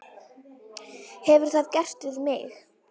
Hefur það gerst við mig?